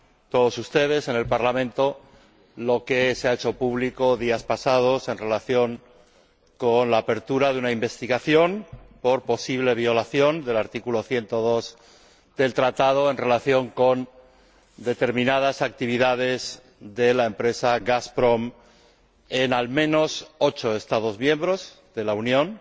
todos ustedes, en el Parlamento, lo que se ha hecho público días atrás en relación con la apertura de una investigación por posible violación del artículo 102 del Tratado respecto de determinadas actividades de la empresa Gazprom en, al menos, ocho Estados miembros de la Unión.